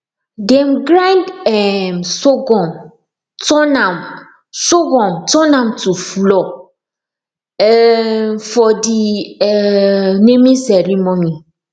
dem grind um surghum turn am surghum turn am to flour um for de um naming ceremony